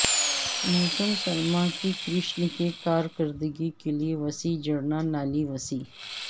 موسم سرما کی کرشن کی کارکردگی کے لئے وسیع جڑنا نالی وسیع